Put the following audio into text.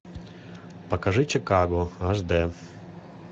покажи чикаго аш д